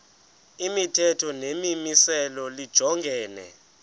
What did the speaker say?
imithetho nemimiselo lijongene